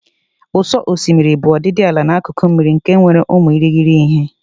Ụ̀sọ̀ osimiri bụ ọdịdị ala n'akụkụ mmiri nke nwere ụmụ irighiri ihe.